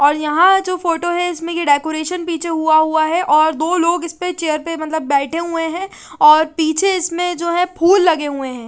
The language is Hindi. और यहाँ फोटो जो है इसमें के डेकोरेशन पीछे हुआ हुआ है और दो लोग इसपे चेयर पे मतलब बेठे हुए है और पीछे इसमें जो है फुल लगे हुए है।